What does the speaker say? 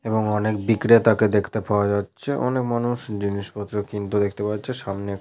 এবং অনেক বিক্রেতা কে দেখতে পাওয়া যাচ্ছে অনেক মানুষ জিনিসপত্র কিনতে দেখতে পাওয়া যাচ্ছে সামনে এক--